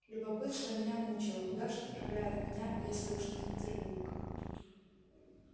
любопытство меня мучило куда ж отправляют меня если уж не в петербург